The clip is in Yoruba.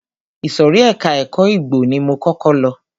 Ìsòrí ẹka ẹ̀kọ́ igbó ni mo kọ́kọ́ lọ.